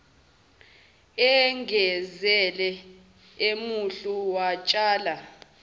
egezile emuhle watshela